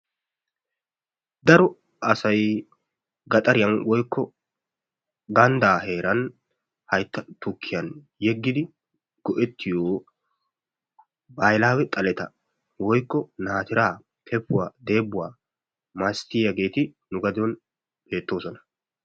Cora asay gaxariyan woykko gandda heeran haytta tukkiyan yegidi go'ettiyo bahilawe xaletta woykko naatira, kepuwaa, debuwaa mastiyageti nu gaden beetosona.